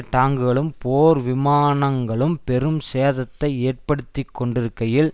டாங்குகளும் போர் விமானங்களும் பெரும் சேதத்தை ஏற்படுத்தி கொண்டிருக்கையில்